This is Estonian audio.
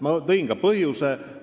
Ma nimetasin ka põhjuse.